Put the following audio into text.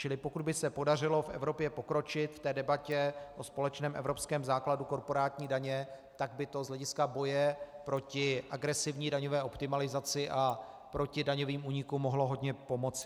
Čili pokud by se podařilo v Evropě pokročit v té debatě o společném evropském základu korporátní daně, tak by to z hlediska boje proti agresivní daňové optimalizaci a proti daňovým únikům mohlo hodně pomoci.